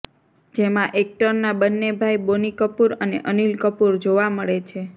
જેમાં એક્ટરના બંને ભાઈ બોની કપૂર અને અનિલ કપૂર જોવા મળે છે